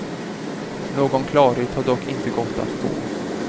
Någon klarhet har dock inte gått att få.